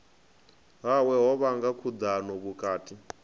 hawe ho vhanga khudano vhukati